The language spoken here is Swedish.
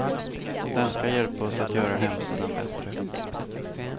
Den ska hjälpa oss att göra hemsidan bättre.